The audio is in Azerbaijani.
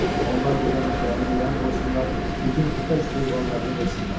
Onlar burda meşələri viran qoysunlar, bütün ov heyvanlarını qırsınlar.